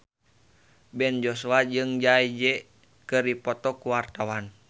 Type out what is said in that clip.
Ben Joshua jeung Jay Z keur dipoto ku wartawan